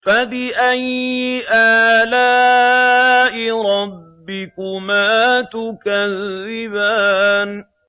فَبِأَيِّ آلَاءِ رَبِّكُمَا تُكَذِّبَانِ